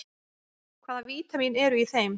Hvaða vítamín eru í þeim?